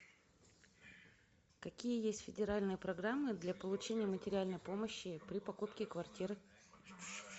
какие есть федеральные программы для получения материальной помощи при покупке квартиры